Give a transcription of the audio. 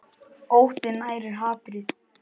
Óttinn nærir hatrið.